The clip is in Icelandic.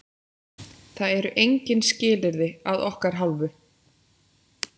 Það eru engin skilyrði að okkar hálfu.